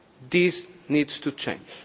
results. This needs to